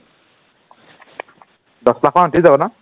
দহ লাখ মান উঠি যাব ন